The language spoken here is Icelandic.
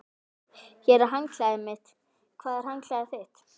Hér er handklæðið mitt. Hvar er handklæðið þitt?